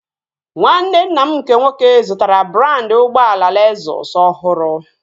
Nwanne nna m nke nwoke zụtara brandị ụgbọala Lezụs ọhụrụ